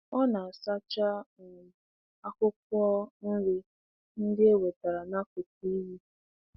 Ọ na-asacha um akwụkwọ nri ndị e wetara n'akụkụ iyi.